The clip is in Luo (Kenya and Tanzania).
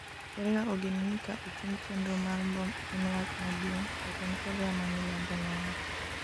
korea ogeno ni ka ochung chenro mar mbom en wach maduong','jatend korea ma milambo nowacho